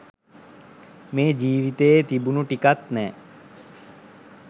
මේ ජීවිතයේ තිබුණු ටිකත් නෑ.